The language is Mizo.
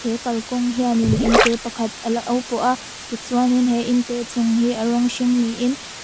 he kalkawng hian in in te pakhat a lo pawh a ti chuan in he in te chung hi a rawng hring ni in--